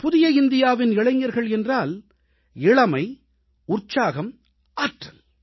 புதிய இந்தியாவின் இளைஞர்கள் என்றால் இளமை உற்சாகம் ஆற்றல்